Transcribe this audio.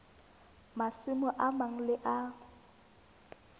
masimo a mang le a